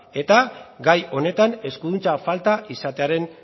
eta gai honetan eskuduntza falta izatearen